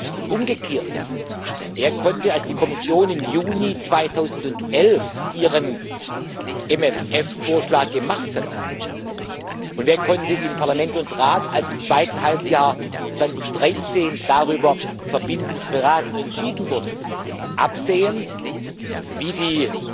Und umgekehrt Wer konnte, als die Kommission im Juni 2011 ihren MFR-Vorschlag gemacht hat, und wer konnte in Parlament und Rat, als im zweiten Halbjahr 2013 verbindlich darüber beraten und entschieden wurde, absehen, wie die